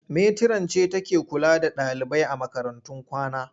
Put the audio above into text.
Metiran ce take kula da ɗalibai a makarantun kwana.